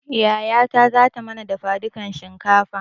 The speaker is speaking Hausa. Yayata zata mana dafa dukan shinkafa